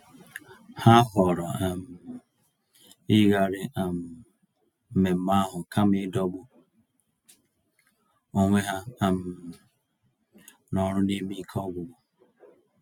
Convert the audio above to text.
Ha họọrọ um iyigharị um mmemmé ahụ kama ịdọgbu onwe ha um n'ọrụ n'ime ike ọgwụgwụ.